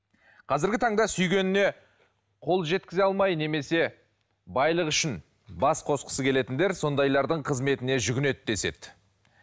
қазіргі таңда сүйгеніне қол жеткізе алмай немесе байлық үшін бас қосқысы келетіндер сондайлардың қызметіне жүгінеді деседі